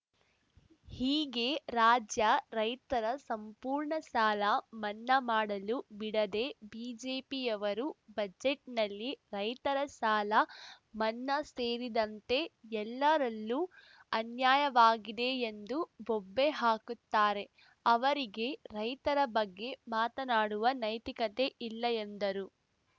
ಹೀಗೆ ರಾಜ್ಯ ರೈತರ ಸಂಪೂರ್ಣ ಸಾಲ ಮನ್ನಾ ಮಾಡಲು ಬಿಡದೆ ಬಿಜೆಪಿಯವರು ಬಜೆಟ್‌ನಲ್ಲಿ ರೈತರ ಸಾಲ ಮನ್ನಾ ಸೇರಿದಂತೆ ಎಲ್ಲರಲ್ಲೂ ಅನ್ಯಾಯವಾಗಿದೆ ಎಂದು ಬೊಬ್ಬೆ ಹಾಕುತ್ತಾರೆ ಅವರಿಗೆ ರೈತರ ಬಗ್ಗೆ ಮಾತನಾಡುವ ನೈತಿಕತೆ ಇಲ್ಲ ಎಂದರು